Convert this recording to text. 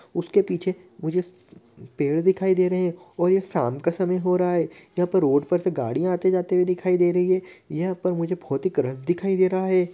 उसके पीछे मुझे पेड़ दिखाई दे रहें है और ये शाम का समय हो रहा है यहां पर रोड पर से गाड़ियाँ आते जाते हुए दिखाई दे रही है यहाँ पर बहुत ही दिखाई दे रहा है।